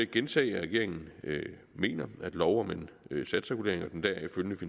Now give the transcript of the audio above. gentage at regeringen mener at loven